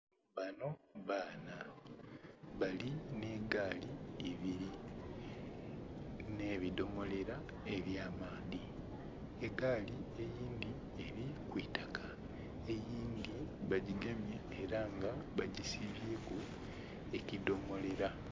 Banho baana bali nheigaali ebiri nhe bidhomolera eky'amaadhi, egaali eyindhi eri kwiitaka, eyindhi bagigemye era nga bagisibye ku ekidomolera.